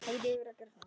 Gamlir gegn nýjum?